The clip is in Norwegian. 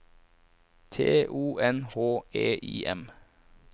T O N H E I M